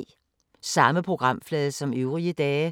Samme programflade som øvrige dage